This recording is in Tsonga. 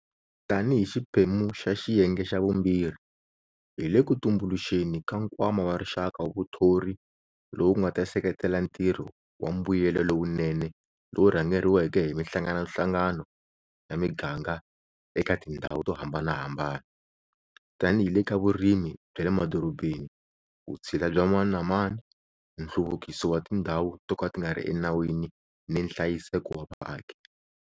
Tanihi xiphemu xa xiyenge xa vumbirhi, hi le ku tumbuluxeni ka Nkwama wa Rixaka wa Vuthori lowu nga ta seketela ntirho wa mbuyelo lowunene lowu rhangeriweke hi mihlanganohlangano ya miganga eka tindhawu to hambanahambana tanihi hi le ka vurimi bya le madorobeni, vutshila bya mani na mani, nhluvukiso wa tindhawu to ka ti nga ri enawini ni nhlayiseko wa vaaki.